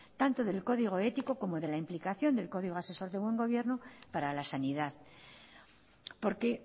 tanto del código ético como de la implicación del código asesor de buen gobierno para la sanidad porque